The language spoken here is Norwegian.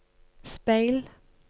speil